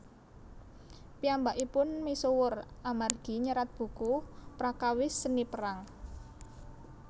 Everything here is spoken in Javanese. Piyambakipun misuwur amargi nyerat buku prakawis Seni Perang